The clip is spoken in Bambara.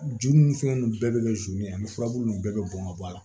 Ju ni fɛn nunnu bɛɛ bɛ kɛ zon ye ani furabulu ninnu bɛɛ bɛ bɔn ka bɔ a la